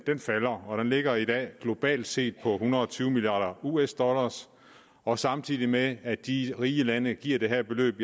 ligger i dag globalt set på en hundrede og tyve milliard us dollar og samtidig med at de rige lande giver det her beløb